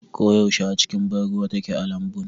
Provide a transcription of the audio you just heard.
Ko yaushe a cikin ban ruwa take a lambun.